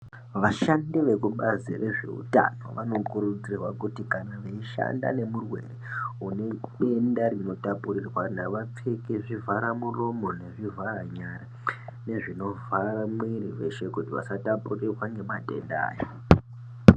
Vashandi vekubazi rezveutano vanokuridzirwa kuti kana veishande nerwere unedenda rinotapurirwana vapfeke zvivhara muroromo nezvivhara nyara nezvivhara mwiri weshe kuitira kuti vasatapurirwa ngemadenda aya